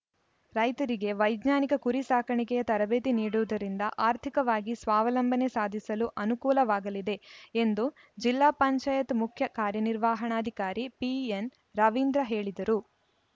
ರೈತರಿಗೆ ವೈಜ್ಞಾನಿಕ ಕುರಿ ಸಾಕಾಣಿಕೆಯ ತರಬೇತಿ ನೀಡುವುದರಿಂದ ಆರ್ಥಿಕವಾಗಿ ಸ್ವಾವಲಂಬನೆ ಸಾಧಿಸಲು ಅನುಕೂಲವಾಗಲಿದೆ ಎಂದು ಜಿಲ್ಲಾ ಪಂಚಾಯತ್ ಮುಖ್ಯ ಕಾರ್ಯನಿರ್ವಹಣಾಧಿಕಾರಿ ಪಿಎನ್‌ರವೀಂದ್ರ ಹೇಳಿದರು